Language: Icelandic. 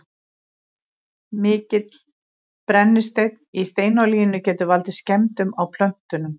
mikill brennisteinn í steinolíunni getur valdið skemmdum á plöntunum